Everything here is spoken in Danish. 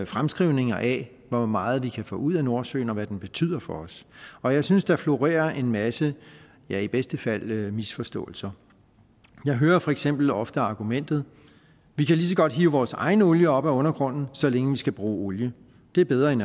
fremskrivninger af hvor meget vi kan få ud af nordsøen og hvad den betyder for os og jeg synes der florerer en masse ja i bedste fald misforståelser jeg hører for eksempel ofte argumentet vi kan lige så godt hive vores egen olie op af undergrunden så længe vi skal bruge olie det er bedre end